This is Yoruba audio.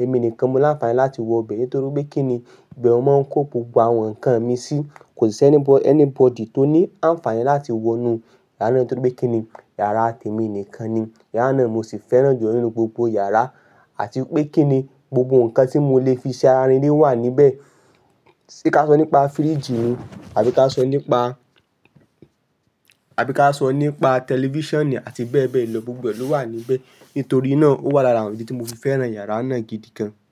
Èmi nìkan mo láǹfààní láti wọ bẹ nítorí pé kíni ìbẹ̀ mo mọ ń kó gbogbo àwọn nǹkan mi sí. Kò sí ẹni anybody tó ní àǹfààní láti wọ inú yàrá náà nítorí pé kíni yàrá tèmi nìkan ni. Yàrá náà mo sì fẹ́ràn jùlọ̀ nínú gbogbo yàrá. Àti pé kíni gbogbo nǹkan tí mo lè fi ṣe ara rindin wà níbẹ̀. Se ka sọ nípa fridge ni, àbí ká sọ nípa, àbí ká sọ nípa tẹlifíṣàn àti bẹ́ẹ̀ bẹ́ẹ̀ lọ, gbogbo ẹ̀ ló wà níbẹ̀. Nítorí náà ó wà lára àwọn ìdí tí mo fi fẹ́ràn yàrá náà gidi gan.